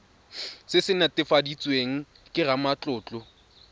se se netefaditsweng ke ramatlotlo